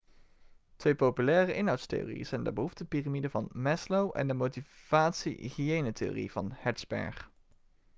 twee populaire inhoudstheorieën zijn de behoeftepiramide van maslow en de motivatie-hygiëne-theorie van hertzberg